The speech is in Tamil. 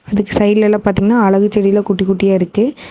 இதுக்கு சைடுலலா பாத்தீங்கன்னா அழகுச் செடி எல்லாம் குட்டி குட்டியா இருக்கு.